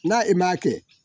N'a i m'a kɛ